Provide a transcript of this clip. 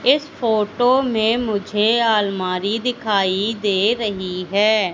इस फोटो में मुझे आलमारी दिखाई दे रही है।